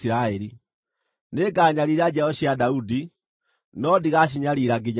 Nĩnganyariira njiaro cia Daudi, no ndigacinyariira nginya tene.’ ”